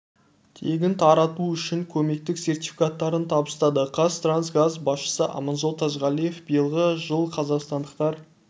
тегін тарту үшін көмектік сертификаттарын табыстады қаз транс газ басшысы аманжол тажғалиев биылғы жыл қазақстандықтар